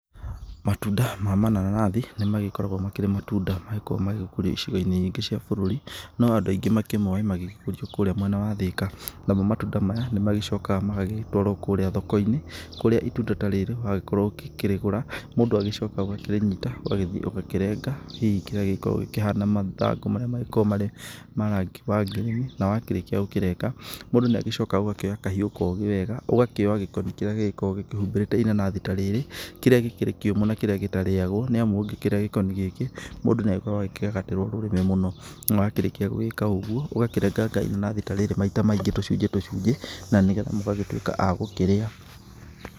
Matunda ma mananathi nĩmagĩkoragwo makĩrĩ matunda magĩkoragwo magĩkũrio icigo-inĩ nyingĩ cia bũrũri. No andũ aingĩ makĩmoĩ magĩgĩkũrio kũũrĩa mwena wa Thika. Namo matunda maya nĩmagicokaga magagĩtwarwo kũũrĩa thoko-inĩ, kũrĩa itunda ta rĩrĩ wagĩkorwo ukĩrĩgũra, mũndũ agĩcokaga ũgakarĩnyita, ũgagĩthiĩ ũgakĩrenga, hihi kĩrĩa gĩkoragwo kĩhana mathangũ marĩa magĩkoragwo marĩ ma rangi wa green. Na wakĩrĩkia gũkĩrenga, mũndũ nĩagĩcokaga ũgakĩoya kahiũ kogĩ wega, ũgakĩoya gĩkoni kĩrĩa gĩgĩkoragwo gĩkĩhumbĩrĩte inanathi ta rĩrĩ, kĩrĩa gĩkĩrĩ kĩũmũ na kĩrĩa gĩtarĩagwo, nĩamu ũngĩkĩrĩa gĩkoni gĩkĩ, mũndũ nĩagĩkoragwo akĩgagatĩrwo rũrĩmĩ mũno. Na wakĩrĩkia gũgĩka ũguo, ũgakĩrenganga inanathi ta rĩrĩ maita maingĩ tũcunjĩ tũcunjĩ, na ni getha mũgagĩtwĩka a gũkĩrĩa.